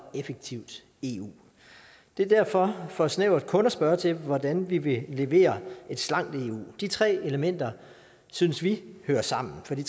effektivt eu det er derfor for snævert kun at spørge til hvordan vi vil levere et slankt eu de tre elementer synes vi hører sammen for de